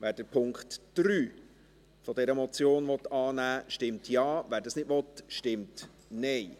Wer den Punkt 3 dieser Motion annehmen will, stimmt Ja, wer dies nicht will, stimmt Nein.